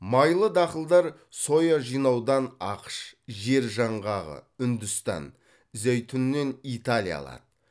майлы дақылдар соя жинаудан ақш жер жаңғағы үндістан зәйтүннен италия алады